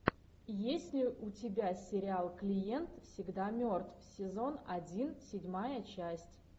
есть ли у тебя сериал клиент всегда мертв сезон один седьмая часть